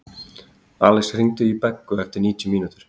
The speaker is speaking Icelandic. Alex, hringdu í Beggu eftir níutíu mínútur.